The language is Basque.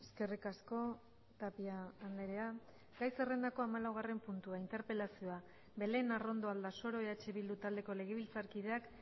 eskerrik asko tapia andrea gai zerrendakoa hamalaugarren puntua interpelazioa belén arrondo aldasoro eh bildu taldeko legebiltzarkideak